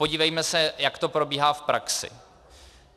Podívejme se, jak to probíhá v praxi.